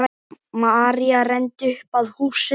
María renndi upp að húsinu.